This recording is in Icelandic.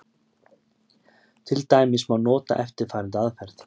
Til dæmis má nota eftirfarandi aðferð: